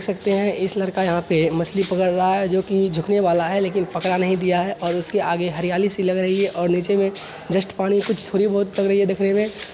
सकते हैं इस लड़का यहाँ पे मछली पकड़ रहा है जो की झुकने वाला है लेकिन पकड़ा नहीं दिया है और उसके आगे हरियाली सी लग रही है और नीचे में जस्ट पानी कुछ थोड़ी बहोत देखने में |